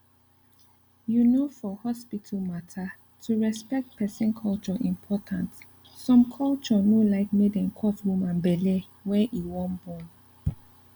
you know for hospital matter to respect person culture importantsome culture no like make dem cut woman belle wen e wan born